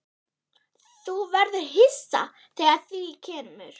Þú verður hissa þegar að því kemur.